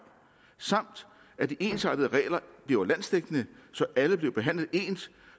samt at de ensartede regler bliver landsdækkende så alle bliver behandlet ens